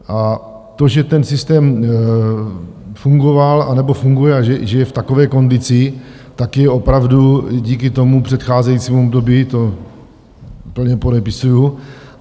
A to, že ten systém fungoval anebo funguje a že je v takové kondici, tak je opravdu díky tomu předcházejícímu období, to plně podepisuji.